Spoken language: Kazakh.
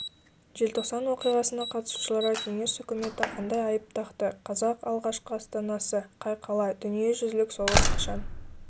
желтоқсан оқиғасына қатысушыларға кеңес үкіметі қандай айып тақты қазақ алғашқы астанасы қай қала дүниежүзілік соғыс қашан